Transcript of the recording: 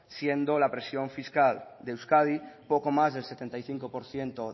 siendo la presión fiscal de euskadi poco más del setenta y cinco por ciento